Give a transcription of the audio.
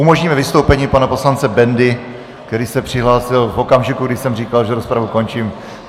Umožníme vystoupení pana poslance Bendy, který se přihlásil v okamžiku, kdy jsem říkal, že rozpravu končím.